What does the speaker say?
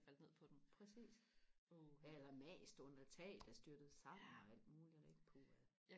præcist eller mast under tag der styrtede sammen og alt muligt puha